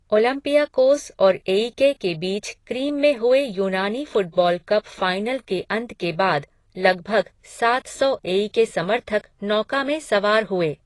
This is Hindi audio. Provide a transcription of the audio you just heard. ओलंपियाकोस और एईके के बीच क्रीम में हुए यूनानी फुटबॉल कप फाइनल के अंत के बाद लगभग सात सौ एईके समर्थक नौका में सवार हुए।